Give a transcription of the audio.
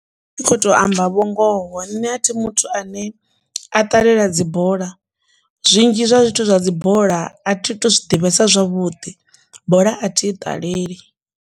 Ndi kho to amba vhungoho nṋe a thi muthu ane a ṱalela dzibola zwinzhi zwa zwithu zwa dzi bola a thi tu zwi ḓivhesa zwavhuḓi bola a thi i ṱaleli.